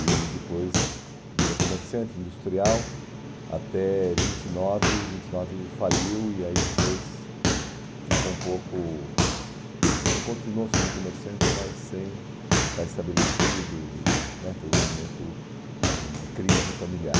e depois virou comerciante industrial até vinte e nove, vinte e nove faliu e aí depois ficou um pouco assim, continuou sendo comerciante mas sem estar estabelecido e né foi um momento assim de crise familiar.